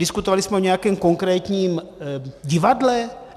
Diskutovali jsme o nějakém konkrétním divadle?